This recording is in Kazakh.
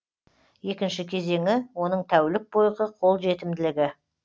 екінші кезеңі оның тәулік бойғы қолжетімділігі